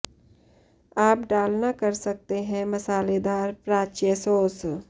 आप डालना कर सकते हैं मसालेदार प्राच्य सॉस